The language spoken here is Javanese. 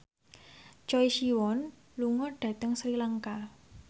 Choi Siwon lunga dhateng Sri Lanka